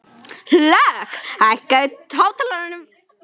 Hlökk, hækkaðu í hátalaranum.